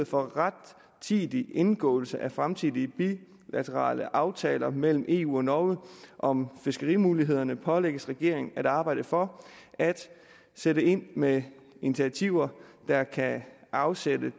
for rettidig indgåelse af fremtidige bilaterale aftaler mellem eu og norge om fiskerimulighederne pålægges regeringen at arbejde for at sætte ind med initiativer der kan afslutte det